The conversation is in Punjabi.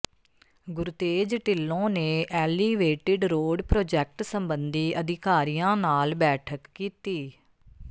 ਗੁਰਤੇਜ ਢਿੱਲੋਂ ਨੇ ਐਲੀਵੇਟਿਡ ਰੋਡ ਪ੍ਰੋਜੈਕਟ ਸਬੰਧੀ ਅਧਿਕਾਰੀਆਂ ਨਾਲ ਬੈਠਕ ਕੀਤੀ